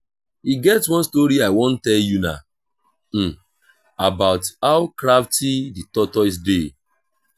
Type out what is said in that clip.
e get one story i wan tell una about how crafty the tortoise dey